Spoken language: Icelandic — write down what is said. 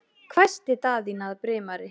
hvæsti Daðína að Brimari.